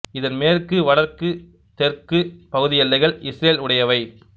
இதன் மேற்கு வடக்கு தெற்கு பகுதி எல்லைகள் இஸ்ரேல் உடையவை